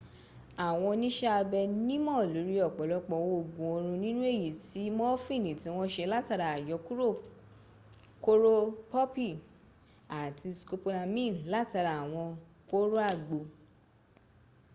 àwọn oníṣẹ́abẹ nímọ̀ lórí ọ̀pọ̀lọpọ̀ òògun oorun nínú èyí tí mọfìnì tí wọ́n se látara àyọkúrò kóró pọ́pì àti scopolamine latara àwọn kóró àgbo